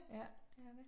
Ja, det er det